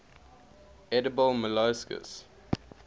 edible molluscs